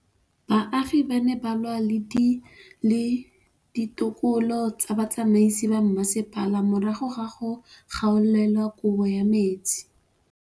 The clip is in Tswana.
Baagi ba ne ba lwa le ditokolo tsa botsamaisi ba mmasepala morago ga go gaolelwa kabo metsi